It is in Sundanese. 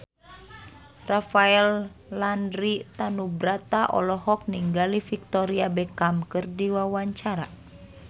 Rafael Landry Tanubrata olohok ningali Victoria Beckham keur diwawancara